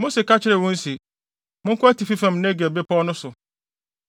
Mose ka kyerɛɛ wɔn se, “Monkɔ atifi fam wɔ Negeb bepɔw no so.